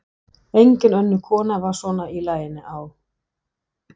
Engin önnur kona var svona í laginu á